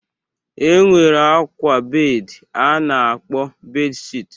E nwere akwa bed a na-akpọ bed shit.